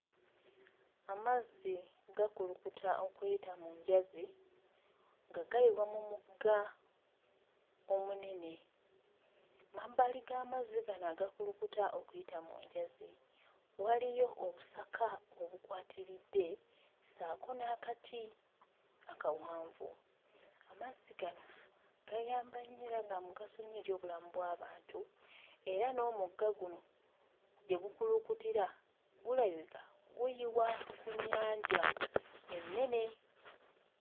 Amazzi gakulukuta okuyita mu njazi nga gayiwa mu mugga omunene mmabbali g'amazzi gano agakulukuta okuyita mu njazi waliyo obusaka obukwatiridde ssaako n'akati akawanvu. Amazzi gano gayamba nnyo era ga mugaso nnyo eri obulamu bw'abantu era n'omugga guno gye gukulukutira gulabika guyiwa ku nnyanja ennene.